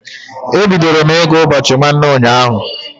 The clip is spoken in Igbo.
E bidoro m ị gụ ụbọchị nwanne ụnyaahụ.